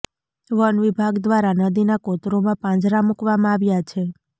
one વિભાગ દ્વારા નદીના કોતરોમાં પાંજરા મુકવામાં આવ્યા છે